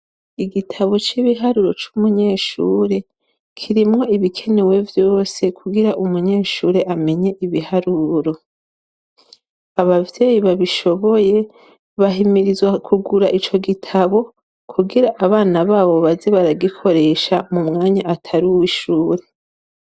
Igitabo c'ibiharuro c'umunyeshure kirimwo ibikenewe vyose kugira umunyeshure amenye ibiharuro. Abavyeyi babishoboye bahimirizwa kugura ico gitabo kugira abana babo baze baragikoresha mu mwanya atari uw'ishuri.